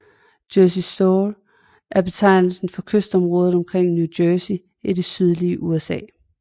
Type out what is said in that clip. Jersey Shore er betegnelsen for kystområdet omkring New Jersey i det østlige USA